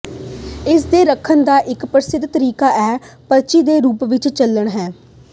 ਇਸ ਦੇ ਰੱਖਣ ਦਾ ਇੱਕ ਪ੍ਰਸਿੱਧ ਤਰੀਕਾ ਇੱਕ ਪਰਚੀ ਦੇ ਰੂਪ ਵਿੱਚ ਚੱਲਣਾ ਹੈ